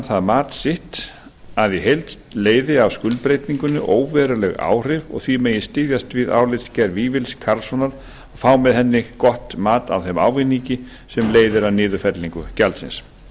það mat sitt að í heild leiði af skuldbreytingunni óveruleg áhrif og því megi styðjast við álitsgerð vífils karlssonar og fá með henni gott mat á þeim ávinningi sem leiðir af niðurfellingu gjaldsins